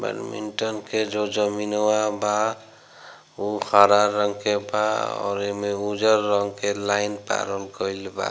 Badminton के जो जमीनवा बा उ हरा रंग के बा और एमें उजर रंग के लाइन पारल गइल बा।